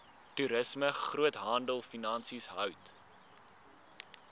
toerisme groothandelfinansies hout